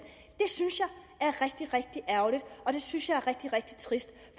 er rigtig ærgerligt og det synes jeg er rigtig trist